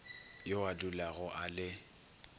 yo a dulago a le